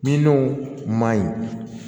Minnu ma ɲi